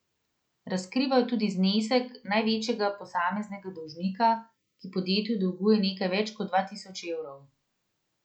Razkrivajo tudi znesek največjega posameznega dolžnika, ki podjetju dolguje nekaj več kot dva tisoč evrov.